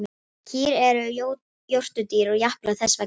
Kýr eru jórturdýr og japla þess vegna á fæðunni.